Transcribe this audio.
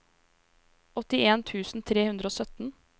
åttien tusen tre hundre og sytten